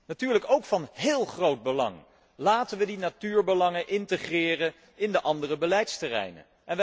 Natuurlijk is het ook van heel groot belang dat wij die natuurbelangen integreren in de andere beleidsterreinen.